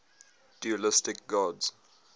dualistic gods